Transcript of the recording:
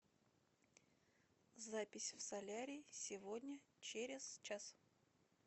запись в солярий сегодня через час